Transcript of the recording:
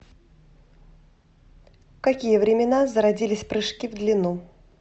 в какие времена зародились прыжки в длину